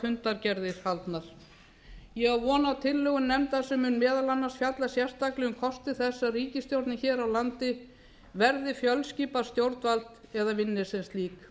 fundargerðir haldnar ég á von á tillögum nefndar sem mun meðal annars fjalla sérstaklega um kosti þess að ríkisstjórnin hér á landi verði fjölskipað stjórnvald eða vinni sem slík